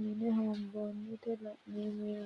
mine hoonboonniti leeltanno yaate.